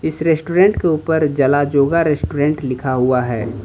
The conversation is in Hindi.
इस रेस्टोरेंट के ऊपर जलाजोगा रेस्टोरेंट लिखा हुआ है।